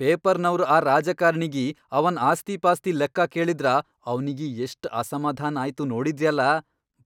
ಪೇಪರ್ನವ್ರ್ ಆ ರಾಜಕಾರ್ಣಿಗಿ ಅವನ್ ಆಸ್ತಿಪಾಸ್ತಿ ಲೆಕ್ಕ ಕೇಳಿದ್ರ ಅವ್ನಿಗಿ ಎಷ್ಟ್ ಅಸಮಾಧಾನ್ ಆಯ್ತು ನೋಡಿದ್ರ್ಯಲಾ..